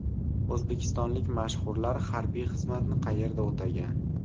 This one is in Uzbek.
O‘zbekistonlik mashhurlar harbiy xizmatni qayerda o‘tagan?.